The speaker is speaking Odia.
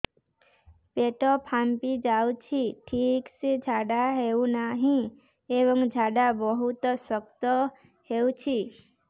ପେଟ ଫାମ୍ପି ଯାଉଛି ଠିକ ସେ ଝାଡା ହେଉନାହିଁ ଏବଂ ଝାଡା ବହୁତ ଶକ୍ତ ହେଉଛି